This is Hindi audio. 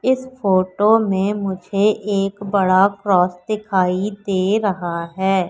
इस फोटो में मुझे एक बड़ा क्रॉस दिखाई दे रहा है।